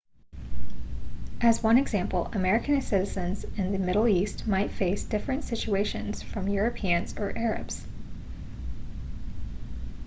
as one example american citizens in the middle east might face different situations from europeans or arabs